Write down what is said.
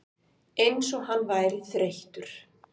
Eins og hann væri þreyttur.